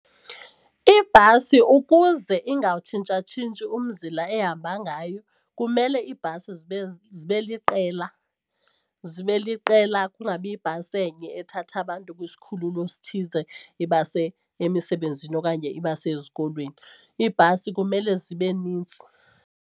Ibhasi ukuze ingawutshintshatshintshi umzila ehamba ngayo kumele iibhasi zibe zibe liqela zibe liqela kungabi yibhasi enye ethatha abantu kwisikhululo esithize ibase emisebenzini okanye ibase ezikolweni. Iibhasi kumele zibe nintsi.